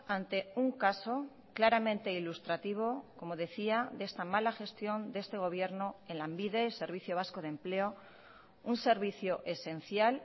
ante un caso claramente ilustrativo como decía de esta mala gestión de este gobierno en lanbide servicio vasco de empleo un servicio esencial